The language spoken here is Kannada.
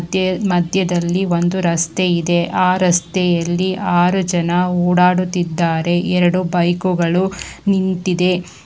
ಮತ್ತೆ ಮಧ್ಯದಲ್ಲಿ ಒಂದು ರಸ್ತೆ ಇದೆ ಅ ರಸ್ತೆಯಲ್ಲಿ ಆರು ಜನ ಓಡಾಡುತ್ತಿದ್ದಾರೆ ಎರಡು ಬೈಕುಗಳು ನಿಂತಿದೆ.